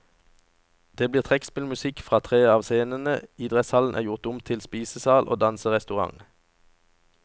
Det blir trekkspillmusikk fra tre scener, idrettshallen er gjort om til spisesal og danserestaurant.